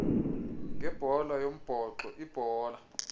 ngebhola yombhoxo ibhola